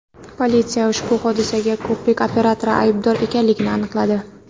Politsiya ushbu hodisaga ko‘prik operatori aybdor ekanligini aniqladi.